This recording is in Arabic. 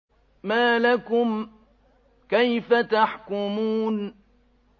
مَا لَكُمْ كَيْفَ تَحْكُمُونَ